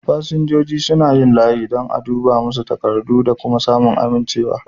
Fasinjojin suna yin layi don a duba masu takardu da kuma samun amincewa.